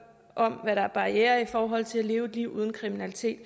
om hvad der er barrierer i forhold til at leve et liv uden kriminalitet